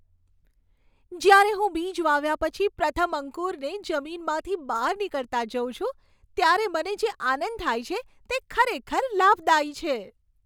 જ્યારે હું બીજ વાવ્યા પછી પ્રથમ અંકુરને જમીનમાંથી બહાર નીકળતાં જોઉં છું ત્યારે મને જે આનંદ થાય છે તે ખરેખર લાભદાયી છે.